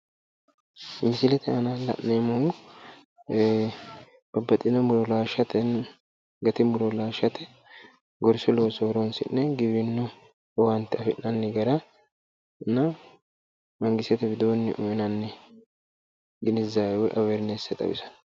Mislete aana la'neemmohu babbaxxino muro laashshate gati muro laashshate gorsu looso horonsi'ne giwirinnu owaante afi'nanni garana mangistete widoonni uynanni ginizzawe woy awwerinesse xawisanno.